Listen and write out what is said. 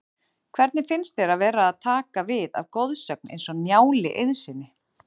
Hvernig finnst þér að vera að taka við af goðsögn eins og Njáli Eiðssyni?